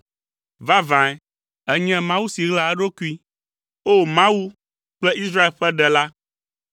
Vavãe, ènye Mawu si ɣlaa eɖokui. O! Mawu kple Israel ƒe Ɖela.